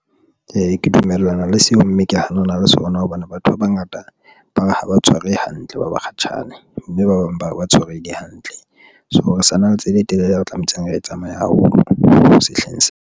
Ee, ke dumellana le seo mme ke hanana le sona. Hobane batho ba bangata ba re ha ba tshwarehe hantle, ba bakgatjhane mme ba bang ba ba tshwarehile hantle. So re sa na le tsela e telele, ya ba tlametseng, re e tsamaya haholo sehleng sena.